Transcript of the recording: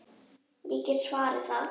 Ég get svarið það!